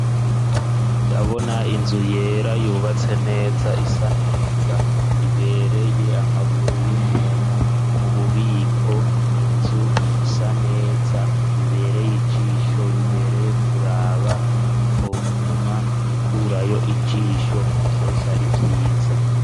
Ndabona inzu yera yubatse neza isaneza ibereye amaguru y'umuntu, mu bubiko inzu isaneza bibereye ijisho, bibereye kuraba, utoguma ukurayo ijisho vyose ari vyiza.